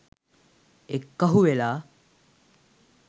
එක්කහු වෙලා